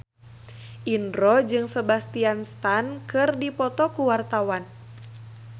Indro jeung Sebastian Stan keur dipoto ku wartawan